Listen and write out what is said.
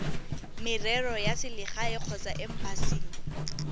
merero ya selegae kgotsa embasing